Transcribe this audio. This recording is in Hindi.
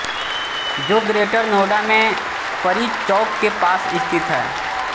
जो ग्रेटर नोएडा में परी चौक के पास स्थित है